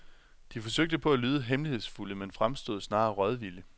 De forsøgte på at lyde hemmelighedsfulde men fremstod snarere rådvilde.